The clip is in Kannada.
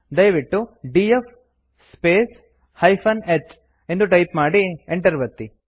ದಯವಿಟ್ಟು ಡಿಎಫ್ ಸ್ಪೇಸ್ -h ಎಂದು ಟೈಪ್ ಮಾಡಿ enter ಒತ್ತಿ